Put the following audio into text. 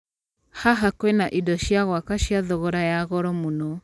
Haha kwina indo cia gwaka cia thogorra ya goro mũno.